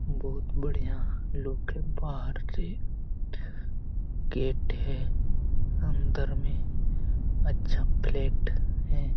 बहुत बढ़िया लोग है। बाहर से गेट है। अंदर में अच्छा फ्लैट है।